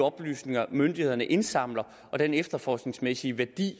oplysninger myndighederne indsamler og den efterforskningsmæssige værdi